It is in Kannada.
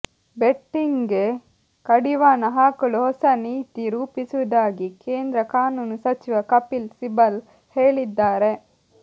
ಬೆಟ್ಟಿಂಗ್ಗೆ ಕಡಿವಾಣ ಹಾಕಲು ಹೊಸ ನೀತಿ ರೂಪಿಸುವುದಾಗಿ ಕೇಂದ್ರ ಕಾನೂನು ಸಚಿವ ಕಪಿಲ್ ಸಿಬಲ್ ಹೇಳಿದ್ದಾರೆ